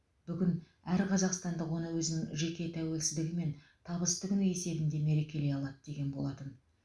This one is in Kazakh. бүгін әр қазақстандық оны өзінің жеке тәуелсіздігі мен табысты күні есебінде мерекелей алады деген болатын